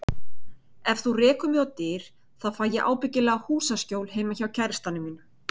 Ef þú rekur mig á dyr, þá fæ ég ábyggilega húsaskjól heima hjá kærastanum mínum.